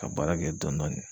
Ka baara kɛ dɔn dɔɔni